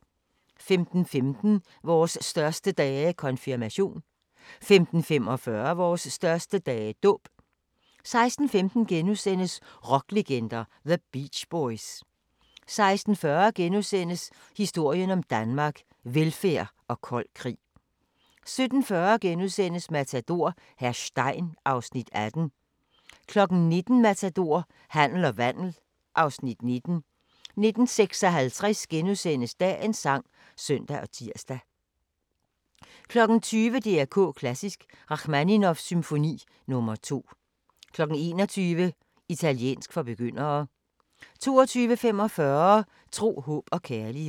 15:15: Vores største dage – Konfirmation 15:45: Vores største dage – Dåb 16:15: Rocklegender – The Beach Boys * 16:40: Historien om Danmark: Velfærd og kold krig * 17:40: Matador - hr. Stein (Afs. 18)* 19:00: Matador - handel og vandel (Afs. 19) 19:56: Dagens sang *(søn og tir) 20:00: DR K Klassisk: Rachmaninovs symfoni nr. 2 21:00: Italiensk for begyndere 22:45: Tro, håb og kærlighed